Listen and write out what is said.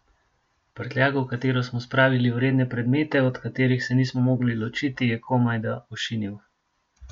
Prtljago, v katero smo spravili vredne predmete, od katerih se nismo mogli ločiti, je komajda ošinil.